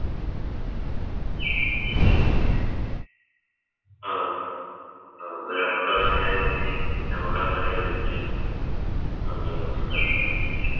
അഹ് അഹ് എന്ന ഞമ്മക്കതങ്ങനെ വൈ ഞമ്മക്കങ് Windup ചെയ്യാ നന്ദി നമസ്ക്കാരം